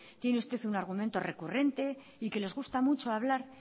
tiene usted un argumento recurrente y que les gusta mucho hablar